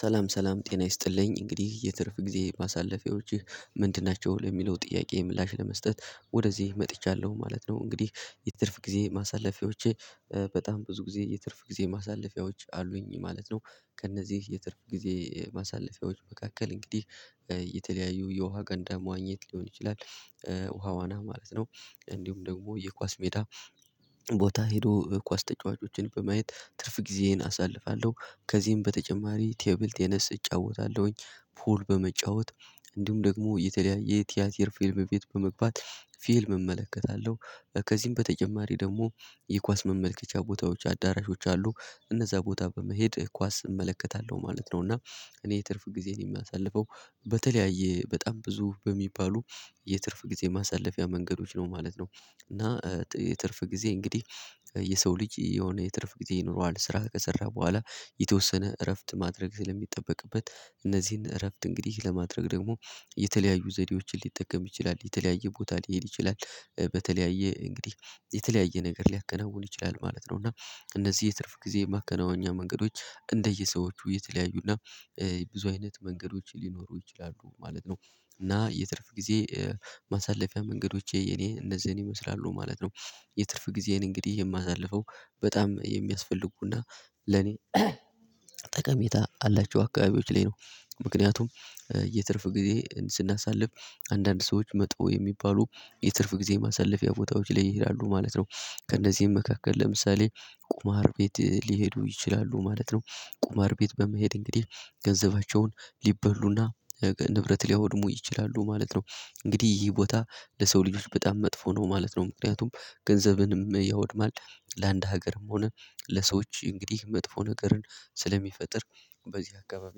ሰላም ሰላም ጤና ይስጥልኝ እንግዲህ የትርፍ ጊዜ ማሳለፊያዎችህ ምንድን ናቸው ለሚለው ጥያቄ ምላሽ ለመስጠት ወደዚህ መጥቻለሁ ማለት ነው። እንግዲህ የትርፍ ጊዜ ማሳለፊያዎቼ በጣም ብዙ ጊዜ የትርፍ ጊዜ ማሳለፊያዎች አሉኝ ማለት ነው። ከእነዚህ የትርፍ ጊዜ ማሳለፊያዎች መካከል እንግዲህ የተለያዩ የውሃ ገንዳ መዋኘት ሊሆን ይችላል። ውሃ ዋና ማለት ነው እንዲሁም ደግሞ የኳስ ሜዳ ቦታ ሄዶ ኳስ ተጫዋቾችን በማየት ትርፍ ጊዜዬን አሳልፋለሁ። ከዚህም በተጨማሪ ቴብል ቴነስ እጫወታለሁኝ። ፑል በመጫወት እንዲሁም ደግሞ የተለያየ ቲያት የር ፊልም ቤት በመግባት ፊልም እመለከታለሁ። ከዚህም በተጨማሪ ደግሞ የኳስ መመልከቻ ቦታዎች አዳራሾች አሉ እነዛ ቦታ በመሄድ ኳስ እመለከታለሁ ማለት ነው። እና እኔ የትርፍ ጊዜ ነው የሚያሳልፈው በተለያየ በጣም ብዙ በሚባሉ የትርፍ ጊዜ ማሳለፊያ መንገዶች ነው ማለት ነው። እና የትርፍ ጊዜ እንግዲህ የሰው ልጅ የሆነ የትርፍ ጊዜ ይኖረዋል ስራ ከሰራ በኋላ። የተወሰነ እረፍት ማድረግ ስለሚጠበቅበት እነዚህን እረፍት እንግዲህ ለማድረግ ደግሞ የተለያዩ ዘዴዎችን ሊጠቀም ይችላል የተለያየ ቦታ ሊሄድ ይችላል በተለያየ እንግዲህ የተለያየ ነገር ሊያከናውን ይችላል ማለት ነው። እና እነዚህ የትርፍ ጊዜ ማከናወኛ መንገዶች እንደየሰዎቹ የተለያዩና ብዙ አይነት መንገዶች ሊኖሩ ይችላሉ ማለት ነው። እና የትርፍ ጊዜ ማሳለፊያ መንገዶቼ የኔ እንደዚህ ነው ይመስላሉ ማለት ነው። የትርፍ ጊዜን እንግዲህ የማሳልፈው በጣም የሚያስፈልጉና ለኔ ጠቀሜታ አላቸው አካባቢዎች ላይ ነው። ምክንያቱም የትርፍ ጊዜ ስናሳልፍ አንዳንድ ሰዎች መጥተው የሚባሉ የትርፍ ጊዜ ማሳለፊያ ቦታዎች ላይ ይሄዳሉ ማለት ነው። ከእነዚህም መካከል ለምሳሌ ቁመሃር ቤት ሊሄዱ ይችላሉ ማለት ነው። ቁማር ቤት በመሄድ እንግዲህ ገንዘባቸውን ሊበሉና ንብረት ሊያወድሙ ይችላሉ ማለት ነው። እንግዲህ ይህ ቦታ ለሰው ልጆች በጣም መጥፎ ነው ማለት ነው። ምክንያቱም ገንዘብንም ያወድማል ለአንድ ሀገርም ሆነ ለሰዎች እንግዲህ መጥፎ ነገርን ስለሚፈጥር በዚህ አካባቢ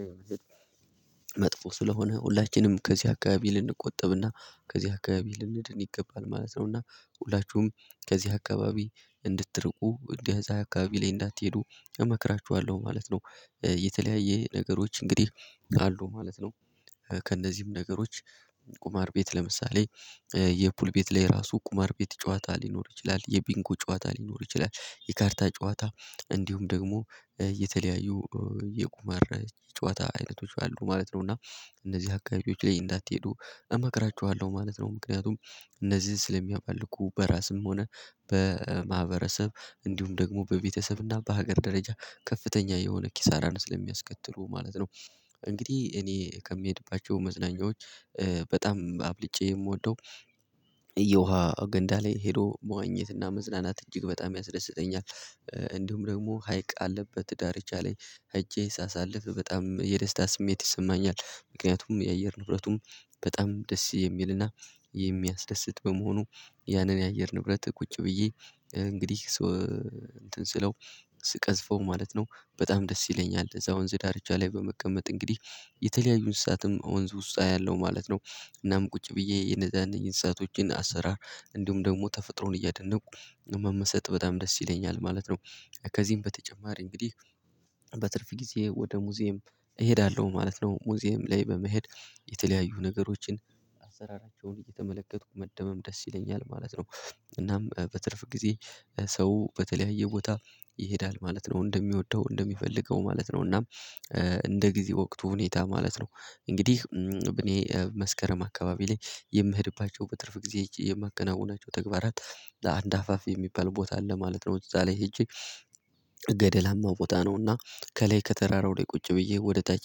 ላይ መጥፎ ስለሆነ ሁላችንም ከዚህ አካባቢ ልንቆጠብና ከዚህ አካባቢ ልንድን ይገባል ማለት ነው። እና ሁላችሁም ከዚህ አካባቢ እንድትርቁ እንደዚህ አካባቢ ላይ እንዳትሄዱ እመክራችኋለሁ ማለት ነው። የተለያየ ነገሮች እንግዲህ አሉ ማለት ነው። ከእነዚህም ነገሮች ቁማር ቤት ለምሳሌ የፑል ቤት ላይ ራሱ ቁማር ቤት ጨዋታ ሊኖር ይችላል የቢንኮ ጨዋታ ሊኖር ይችላል የካርታ ጨዋታ እንዲሁም ደግሞ የተለያዩ የቁመር ጨዋታ አይነቶች አሉ ማለት ነው። እና እነዚህ አካሄዶች ላይ እንዳትሄዱ እመክራቸዋለሁ ማለት ነው። ምክንያቱም እነዚህን ስለሚያመልኩ በራስም ሆነ በማህበረሰብ እንዲሁም ደግሞ በቤተሰብ እና በሀገር ደረጃ ከፍተኛ የሆነ ኪሳራ ነው ስለሚያስከትሉ ማለት ነው። እንግዲህ እኔ ከምሄድባቸው መዝናኛዎች በጣም አብልጬ የምወደው የውሃ ገንዳ ላይ ሄዶ መዋኘትና መዝናናት እጅግ በጣም ያስደስተኛል። እንዲሁም ደግሞ ሀይቅ አለበት ትዳር የቻለኝ ሀጄ ሳሳልፍ በጣም የደስታ ስሜት ይሰማኛል ምክንያቱም የአየር ንብረቱም በጣም ደስ የሚልና የሚያስደስት በመሆኑ ያንን የአየር ንብረት ቁጭ ብዬ እንግዲህ ሰው እንትን ስለው ስቀዝፈው ማለት ነው በጣም ደስ ይለኛል። እዛ ወንዝ ዳርቻ ላይ በመቀመጥ እንግዲህ የተለያዩን ስሳትም ወንዝ ውሳኔ ያለው ማለት ነው። እናም ቁጭ ብዬ የነዛን እንስሳቶችን አሰራር እንዲሁም ደግሞ ተፈጥሮን እያደነቁ መመሰጥ በጣም ደስ ይለኛል ማለት ነው። ከዚህም በተጨማሪ እንግዲህ በትርፍ ጊዜ ወደ ሙዚየም እሄዳለሁ ማለት ነው ሙዚየም ላይ በመሄድ የተለያዩ ነገሮችን አሰራራቸውን እየተመለከትኩ መደመም ደስ ይለኛል ማለት ነው። እናም በትርፍ ጊዜ ሰው በተለያየ ቦታ ይሄዳል ማለት ነው እንደሚወደው እንደሚፈልገው ማለት ነው እናም እንደ ጊዜ ወቅት ሁኔታ ማለት ነው። እንግዲህ ብኔ መስከረም አካባቢ ላይ የምሄድባቸው በትርፍ ጊዜ የማከናውናቸው ተግባራት ለአንድ አፋፍ የሚባል ቦታ አለ ማለት ነው። እዛ ላይ ሄጄ ገደላማ ቦታ ነውና ከላይ ከተራራው ላይ ቁጭ ብዬ ወደ ታይት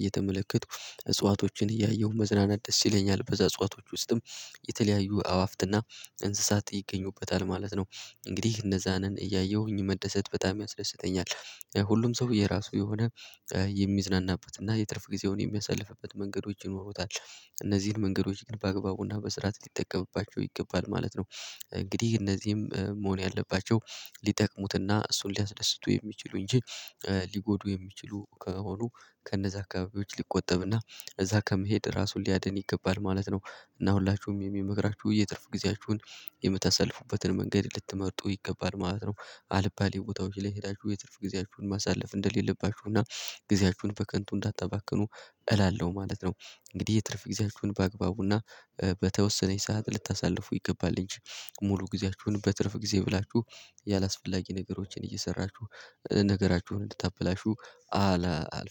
እየተመለከትኩ እጽዋቶችን እያየሁ መዝናናት ደስ ይለኛል። በዛ እጽዋቶች ውስጥም የተለያዩ አዋፍትና እንስሳት ይገኙበታል ማለት ነው። እንግዲህ እነዛንን እያየሁኝ መደሰት በጣም ያስደስተኛል። ሁሉም ሰው የራሱ የሆነ የሚዝናናበት እና የትርፍ ጊዜውን የሚያሳልፍበት መንገዶች ይኖሩታል እነዚህን መንገዶች በአግባቡና በስርዓት ሊጠቀምባቸው ይገባል ማለት ነው። እንግዲህ እነዚህም መሆን ያለባቸው ሊጠቅሙትና እሱን ሊያስደስቱ የሚችሉ እንጂ ሊጎዱ የሚችሉ ከሆኑ ከነዛ አካባቢዎች ሊቆጠብና እዛ ከመሄድ ራሱን ሊያድን ይገባል ማለት ነው። እና ሁላችሁም የሚመግራችሁ የትርፍ ጊዜያችሁን የምታሳልፉበትን መንገድ ልትመርጡ ይገባል ማለት ነው። አልባሌ ቦታዎች ላይ ሄዳችሁ የትርፍ ጊዜያችሁን ማሳለፍ እንደሌለባችሁና ጊዜያችሁን በከንቱ እንዳታባክኑ እላለሁ ማለት ነው። እንግዲህ የትርፍ ጊዜያችሁን በአግባቡና በተወሰነች ሰዓት ልታሳልፉ ይገባል እንጂ ሙሉ ጊዜያችሁን በትርፍ ጊዜ ብላችሁ ያላስፈላጊ ነገሮችን እየሰራችሁ ነገራችሁን እንድታበላሹ አላ።